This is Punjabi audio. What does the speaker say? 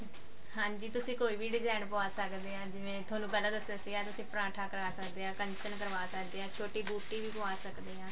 ਹਾਂ ਤੁਸੀਂ ਕੋਈ ਵੀ design ਪਵਾ ਸਕਦੇ ਹੋ ਜਿਵੇਂ ਤੁਹਾਨੂੰ ਪਹਿਲਾਂ ਦੱਸਿਆ ਸੀਗਾ ਤੁਸੀਂ ਪਰਾਂਠਾ ਕਰ ਸਕਦੇ ਆਂ ਕੰਚਨ ਕਰਵਾ ਸਕਦੇ ਹਾਂ ਛੋਟੀ ਬੂਟੀ ਵੀ ਪਵਾ ਸਕਦੇ ਹਾਂ